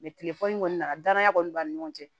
tilefɔni kɔni na danaya kɔni b'an ni ɲɔgɔn cɛ